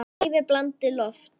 Lævi blandið loft.